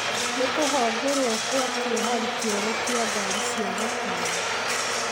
Nĩ kũhongũrwo kwa kĩohari kĩeru kia gari cia gũkuua andũ.